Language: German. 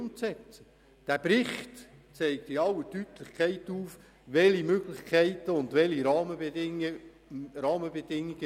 Der vorliegende Bericht zeigt in aller Deutlichkeit auf, welche Möglichkeiten und Rahmenbedingungen abgeklärt wurden.